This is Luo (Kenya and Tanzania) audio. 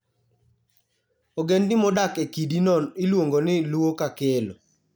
Ogendni modak e kidi no iluongo ni Luo-Kakello.